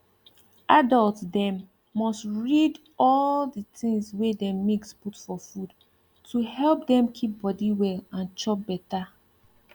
adult dem must read all the things wey dem mix put for food to help dem keep body well and chop beta